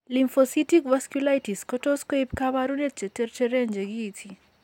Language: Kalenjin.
Lymphocytic vasculitis ko tos' koib kaabarunet che terteren che kiiti.